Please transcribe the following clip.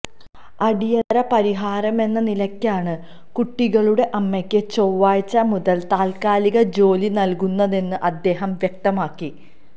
അടിയന്തര പരിഹാരമെന്ന നിലയ്ക്കാണ് കുട്ടികളുടെ അമ്മയ്ക്ക് ചൊവ്വാഴ്ച മുതല് താത്കാലിക ജോലി നല്കുന്നതെന്ന് അദ്ദേഹം വ്യക്തമാക്കി